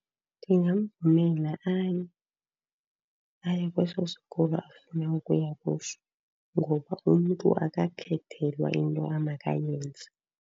Ndingamvumela aye, aye kweso sikolo afuna ukuya kuso, ngoba umntu akakhethelwa into amakayenze.